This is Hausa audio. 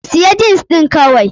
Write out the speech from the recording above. Siya jins ɗin kawai!